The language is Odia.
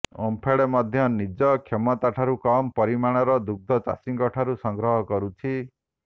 ଓମ୍ଫେଡ଼ ମଧ୍ୟ ନିଜ କ୍ଷମତାଠାରୁ କମ୍ ପରିମାଣର ଦୁଗ୍ଧ ଚାଷୀଙ୍କଠାରୁ ସଂଗ୍ରହ କରୁଛି